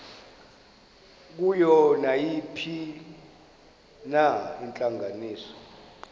kuyo nayiphina intlanganiso